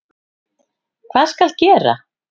Hvað skal gera?